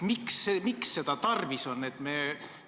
Miks seda tarvis on?